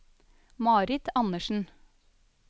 Marit Anderssen